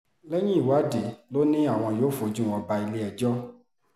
lẹ́yìn ìwádìí ló ní àwọn yóò fojú wọn bá ilé-ẹjọ́